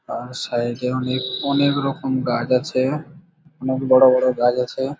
আর side -এ অনেক অনেক রকম গাছ আছে অনেক বড় বড় গাছ আছে।